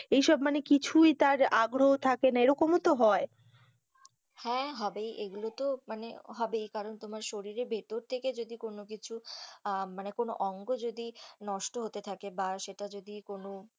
এই সব মানে কিছুই তার আগ্রহ থাকে না এরকম ও তো হয়, হ্যাঁ, হবেই এইগুলো তো মানে হবেই কারণ তোমার শরীর ভেতর থেকে কিছু মানে কোনো অঙ্গ যদি নষ্ট হতে থাকে বা সেটা যদি কোনো।